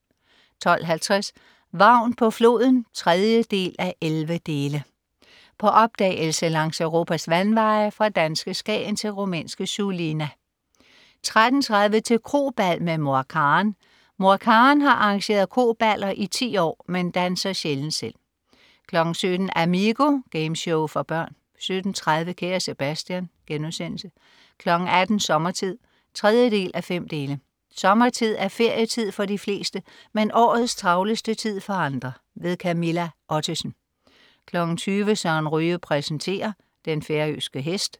12.50 Vagn på floden 3:11. På opdagelse langs Europas vandveje, fra danske Skagen til rumænske Sulina 13.30 Til krobal med Mor Karen. Mor Karen har arrangeret kroballer i 10 år, men danser sjældent selv 17.00 Amigo. Gameshow for børn 17.30 Kære Sebastian* 18.00 Sommertid. 3:5. Sommertid er ferietid for de fleste, men årets travleste tid for andre. Camilla Ottesen 20.00 Søren Ryge præsenterer. Den færøske hest